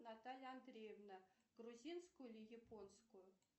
наталья андреевна грузинскую или японскую